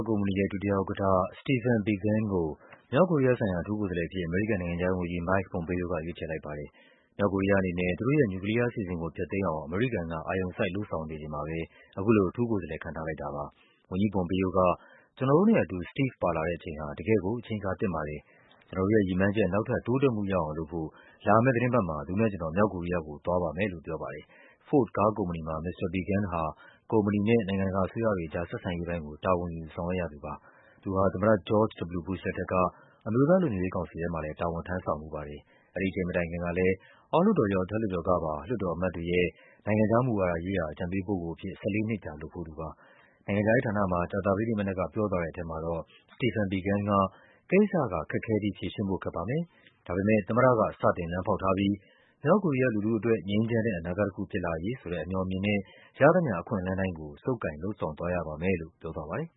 ကုမ္ပဏီရဲ့ ဒုတိယဥက္ကဌ Stephen Biegun ကို မြောက်ကိုရီးယားဆိုင်ရာ အထူးကိုယ်စားလှယ်အဖြစ် အမေရိကန်နိုင်ငံခြားရေးဝန်ကြီး Mike Pompeo က ရွေးချယ်လိုက်ပါတယ်။ မြောက်ကိုရီးယားအနေနဲ့ သူတို့ရဲ့ နျူကလီးယားအစီအစဉ်ကို ဖျက်သိမ်းအောင် အမေရိကန်က အာရုံစိုက် လုပ်ဆောင်နေချိန်မှာ ပဲ အခုလို အထူးကိုယ်စားလှယ် ခန့်ထားလိုက်တာပါ။ ဝန်ကြီး Pompeo က “ကျနော်တို့နဲ့အတူ Steve ပါလာတဲ့အချိန်ဟာ တကယ့်ကို အချိန်အခါသင့်ပါတယ်။ ကျနော်တို့ရဲ့ ရည်မှန်း ချက် နောက်ထပ် တိုးတက်မှုရအောင်လုပ်ဖို့ လာမယ့်သီတင်းပတ်နဲ့ သူနဲ့ကျနော် မြောက်ကိုရီးယားကို သွားပါမယ်” လို့ ပြောပါ တယ်။ Ford ကားကုမ္ပဏီမှာ မစ္စတာ Biegun ဟာ ကုမ္ပဏီနဲ့ နိုင်ငံတကာအစိုးရတွေအကြား ဆက်ဆံရေးပိုင်းကို တာဝန်ယူ ဆောင်ရွက်ရ သူပါ။ သူဟာ သမ္မတ George W. Bush လက်ထက်က အမျိုးသားလုံခြုံရေးကောင်စီထဲမှာလည်း တာဝန်ထမ်းဆောင်ဖူးပါတယ်။ အဲဒီအချိန်မတိုင်ခင်ကလည်း အောက်လွှတ်တော်ရော အထက်လွှတ်တော်ကပါ လွှတ်တော်အမတ်တွေရဲ့ နိုင်ငံခြားမူဝါဒရေးရာ အကြံပေးပုဂ္ဂိုလ်အဖြစ် ၁၄ နှစ်ကြာ လုပ်ဖူးသူပါ။ နိုင်ငံခြားရေးဌာနမှာ ကြာသပတေးနေ့မနက်က ပြောသွားတဲ့ထဲမှာတော့ Stephen Biegun က “ကိစ္စက ခက်ခဲပြီး ဖြေရှင်းဖို့ ခက် ပါမယ်။ ဒါပေမဲ့ သမ္မတက စတင် လမ်းဖောက်ထားပြီး မြောက်ကိုရီးယားလူထုအတွက် ငြိမ်းချမ်းတဲ့အနာဂတ်တခု ဖြစ်လာရေး ဆိုတဲ့ အမြော်အမြင်နဲ့ ရသမျှအခွင့်အလန်းတိုင်းကို ဆုပ်ကိုင် လုပ်ဆောင်သွားရပါမယ်” လို့ ပြောသွားပါတယ်